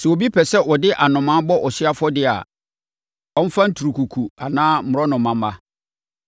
“ ‘Sɛ obi pɛ sɛ ɔde anomaa bɔ ɔhyeɛ afɔdeɛ a, ɔmfa nturukuku anaa mmorɔnoma mma.